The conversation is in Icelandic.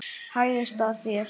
Hæðist að þér.